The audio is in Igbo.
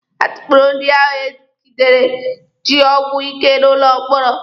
A tukpuru ndị ahụ egidere ji ọgwụ ike n'ụlọ mkpọrọ.